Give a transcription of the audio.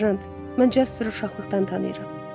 Serjant, mən Jasperi uşaqlıqdan tanıyıram.